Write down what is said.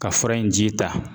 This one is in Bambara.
Ka fura in ji ta.